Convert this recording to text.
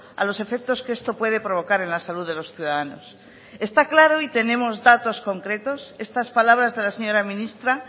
a los efectos que esto puede provocar en la salud de los ciudadanos está claro y tenemos datos concretos estas palabras de la señora ministra